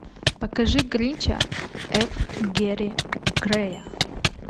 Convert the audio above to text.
покажи крича ф гери грея